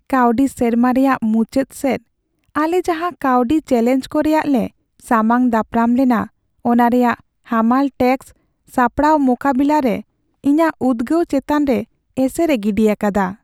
ᱠᱟᱹᱣᱰᱤ ᱥᱮᱨᱢᱟ ᱨᱮᱭᱟᱜ ᱢᱩᱪᱟᱹᱫ ᱥᱮᱫ, ᱟᱞᱮ ᱡᱟᱦᱟᱸ ᱠᱟᱹᱣᱰᱤ ᱪᱮᱹᱞᱮᱧᱡ ᱠᱚ ᱨᱮᱭᱟᱜ ᱞᱮ ᱥᱟᱢᱟᱝ ᱫᱟᱯᱨᱟᱢ ᱞᱮᱱᱟ ᱚᱱᱟ ᱨᱮᱭᱟᱜ ᱦᱟᱢᱟᱞ ᱴᱮᱹᱠᱥ ᱥᱟᱯᱲᱟᱣ ᱢᱳᱠᱟᱵᱤᱞᱟᱨᱮ ᱤᱧᱟᱹᱜ ᱩᱫᱜᱟᱹᱣ ᱪᱮᱛᱟᱱ ᱨᱮ ᱮᱥᱮᱨᱮ ᱜᱤᱰᱤ ᱟᱠᱟᱫᱟ ᱾